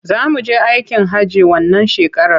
Za mu je aikin hajji wannan shekarar.